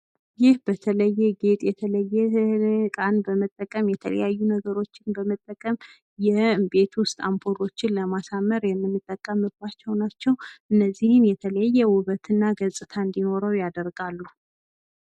ይህ በተለየ ጌጥ የተለየ እቃን በመጠቀም የተለያዩ ነገሮችን በመጠቀም የቤት ዉስጥ አምፖሎችን ለማሳመር የምንጠቀምባቸዉ ናቸዉ። እነዚህን የተለየ ዉበትና ገፅታን እንዲኖረዉ ያደርጋሉ።